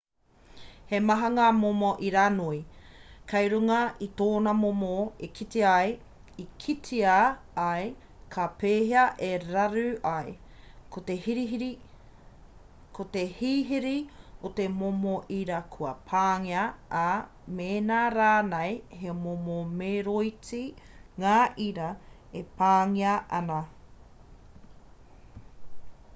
he maha ngā momo iranoi kei runga i tōna momo e kitea ai ka pēhea e raru ai ko te hihiri o te momo ira kua pāngia ā mēnā rānei he momo meroiti ngā ira e pāngia ana